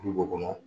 Olu b'o kɔnɔ